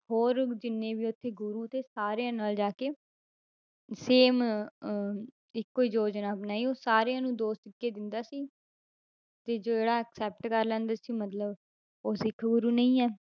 ਹੋਰ ਜਿੰਨੇ ਵੀ ਉੱਥੇ ਗੁਰੂ ਤੇ ਸਾਰਿਆਂ ਨਾਲ ਜਾ ਕੇ same ਅਹ ਇੱਕੋ ਹੀ ਯੋਜਨਾ ਬਣਾਈ, ਉਹ ਸਾਰਿਆਂ ਨੂੰ ਦੋ ਸਿੱਕੇ ਦਿੰਦਾ ਸੀ ਤੇ ਜਿਹੜਾ accept ਕਰ ਲੈਂਦਾ ਸੀ ਮਤਲਬ ਉਹ ਸਿੱਖ ਗੁਰੂ ਨਹੀਂ ਹੈ,